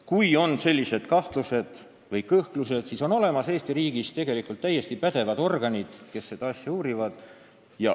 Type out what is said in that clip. Kui on sellised kahtlused või kõhklused, siis Eesti riigis on olemas täiesti pädevad organid, kes neid asju uurivad.